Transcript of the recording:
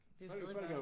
Det er jo stadig bare